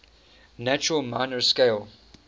natural minor scale